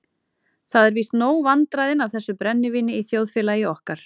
Það eru víst nóg vandræðin af þessu brennivíni í þjóðfélagi okkar.